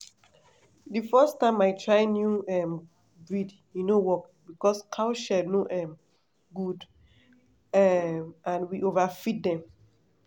the first time i try new um breed e no work because cow shed no um good um and we overfeed dem.